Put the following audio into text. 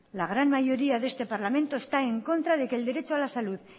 la gran mayoría de este parlamento está en contra de que el derecho a la salud